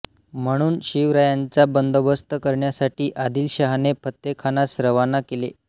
म्हणून शिवरायांचा बंदोबस्त करण्यासाठी आदिलशहाने फत्तेखानास रवाना केले